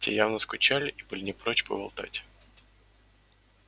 те явно скучали и были не прочь поболтать